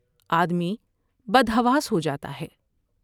آدمی بدحواس ہو جا تا ہے ۔